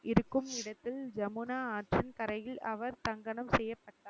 இருக்கும் இடத்தில் ஜமுனா ஆற்றங்கரையில் அவர் தகனம் செய்யப்பட்டார்.